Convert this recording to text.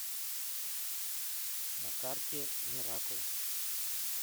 на карте миракл